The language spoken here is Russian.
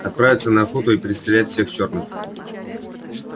отправиться на охоту и перестрелять всех черных